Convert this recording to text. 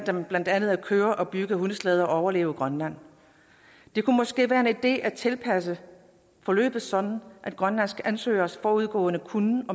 blandt andet at køre og bygge hundeslæder og overleve i grønland det kunne måske være en idé at tilpasse forløbet sådan at grønlandske ansøgeres forudgående kunnen